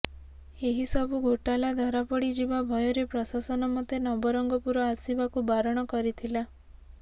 ଏହି ସବୁ ଘୋଟାଲା ଧରାପଡ଼ିଯିବା ଭୟରେ ପ୍ରଶାସନ ମୋତେ ନବରଙ୍ଗପୁର ଆସିବାକୁ ବାରଣ କରିଥିଲା